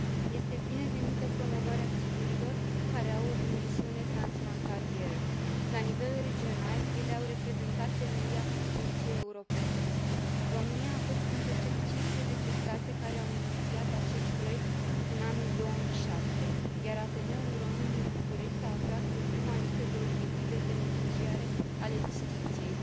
Este binevenită promovarea siturilor care au o dimensiune transfrontalieră. La nivel regional, ele au reprezentat temelia construcției europene. România a fost printre cele 15 state care au inițiat acest proiect în anul 2007, iar Ateneul Român din București s a aflat pe prima listă de obiective beneficiare ale distincției.